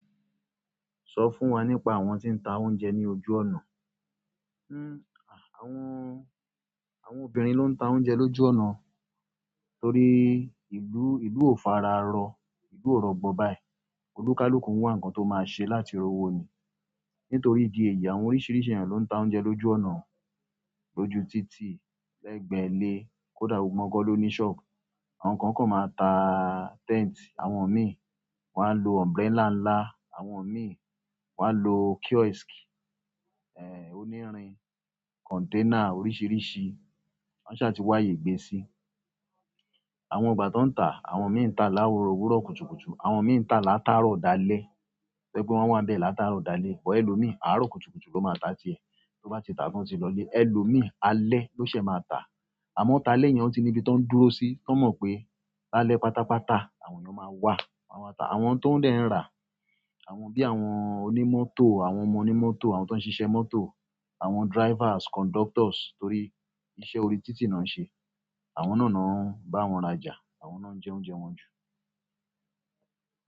Sọ fún wa nípa àwọn tí ń ta oúnjẹ ní ojú ọ̀nà. Hmmm, àwọn, àwọn obìnrin ló ń ta oúnjẹ lójú ọ̀nà torí ìlú, ìlú ò fararọ, ìlú ò rọgbọ báyìí, oníkálukú n wà nǹkan tó máa ṣe láti rowo ni. Nítorí ìdí èyí àwọn oríṣiríṣi ènìyàn ló ń ta oúnjẹ lójú ọ̀nà, lójú títì, lẹ́gbẹ̀ẹ́ ilé, kó dà gbogbo wọn gan loni ṣọ́ọ̀bu. Àwọn kan kò máa ta tent, àwọn mi wọn á lọ umbrella ńlá, àwọn mi wá lọ kiosk, eh onírin, container oríṣiríṣi, wọ́n ṣà ti wá ààyè gbé sí. Àwọn ìgbà tó ń ta, àwọn mi ń ta láworo wúró kùtùkùtù, àwọn mi ń ta látárọ̀ dalẹ́. To jẹ pé wọ́n máa ń bẹ láátárọ̀ dalẹ́, bọ̀ ẹ́ lò mi àárọ̀ kùtùkùtù ló máa ta ti ẹ. Tó bá ti ta tán o ti lọlé, ẹ lò mi alẹ́ ló ṣe máa ta. Àmọ́ talẹ yẹn ó ti níbi tó ń dúró sí, tó mọ̀ pé lálẹ́ pátápátá àwọn ènìyàn máa wá, wọ́n máa ta. Àwọn tó ń dẹ̀ ń rà, àwọn bí àwọn onímọ́tò, àwọn ọmọ onímọ́tò, àwọn tó ń ṣiṣẹ́ mọ́tò, àwọn drivers, conductors torí iṣẹ́ orí títì náà ṣe. Àwọn náà ni wọn bá wọn rajà, àwọn náà ń jẹ oúnjẹ wọn jù.